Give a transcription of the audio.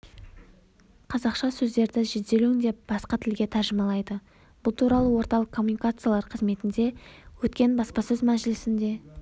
қазақша сөздерді жедел өңдеп басқа тілге тәржімалайды бұл туралы орталық коммуникациялар қызметінде өткен баспасөз мәжілісінде